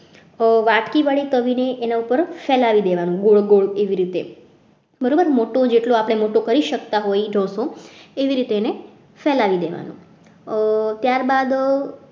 વાટકી વડે તવીને એના ઉપર ફેલાવી દેવાનું ગોળ ગોળ એવી રીતે બરોબર મોટું જેટલું આપણે કરી શકતા હોય એ ઢોસો એવી રીતે એને ફેલાવી દેવાનું ત્યારબાદ